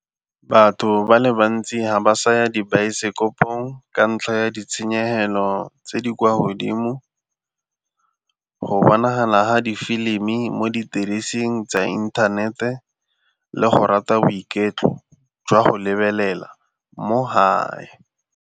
Batho ba le bantsi ga ba saya dibaesekopong ka ntlha ya ditshenyegelo tse di kwa godimo, go bonagala ha difilimi mo didirisiweng tsa inthanete le go rata boiketlo jwa go lebelela mo hae.